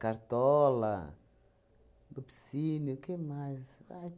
Cartola, Lupicínio, o que mais? Aí